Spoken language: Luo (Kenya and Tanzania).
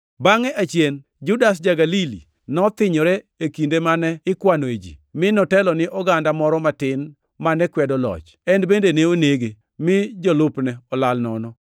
Bangʼe achien Judas ja-Galili nothinyore e kinde mane ikwanoe ji, mi notelo ni oganda moro matin mane kwedo loch. En bende ne onege, mi jolupne olal nono.